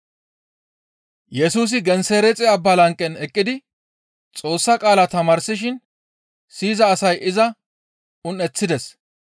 Yesusi Gensereexe Abba lanqen eqqidi Xoossa qaala tamaarsishin siyiza asay iza un7eththides.